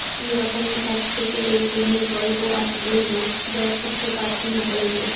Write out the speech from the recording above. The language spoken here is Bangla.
এই রকমই এক সেকেলে প্রেমের গল্প আজ বলবো যার সুত্রপাত কিনা কলেজ